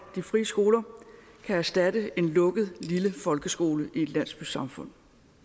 de frie skoler kan erstatte en lukket lille folkeskole i et landsbysamfund